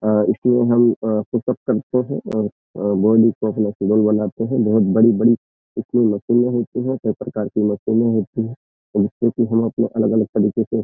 आ इसमें हम अ पुशअप करते हैं अ अ बॉडी को अपना सुडौल बनाते हैं। बहोत बड़ी-बड़ी इसमें मशीने होती हैं कई प्रकार की मशीने होती हैं जिससे की हम अलग-अलग तरीके से --